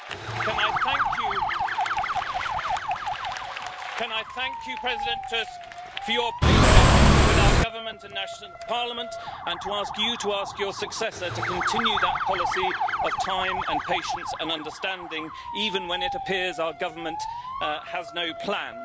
And can I thank you, President Tusk, for your patience with our Government and national parliament, and can I ask you to ask your successor to continue that policy of time and patience and understanding, even when it appears our Government has no plan.